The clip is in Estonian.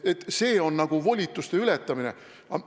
Kas see on volituste ületamine?